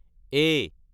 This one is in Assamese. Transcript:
এ